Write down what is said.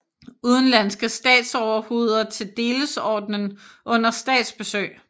Udenlandske statsoverhoveder til delesordenen under statsbesøg